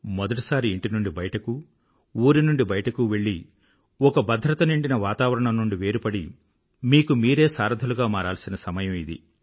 మొదటిసారి ఇంటి నుండి బయటకు ఊరి నుండి బయటకు వెళ్ళి ఒక భద్రత నిండిన వాతావరణం నుండి వేరుపడి మీకు మీరే సారధులుగా మారాల్సిన సమయం ఇది